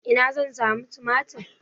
Ina zan samu tumatir?